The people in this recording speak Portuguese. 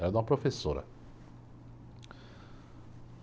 Era de uma professora.